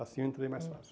Assim eu entrei mais fácil.